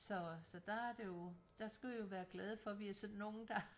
Så så der er det jo der skal vi jo være glade for vi er sådan nogle der